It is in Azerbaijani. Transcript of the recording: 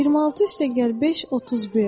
26 + 5 = 31.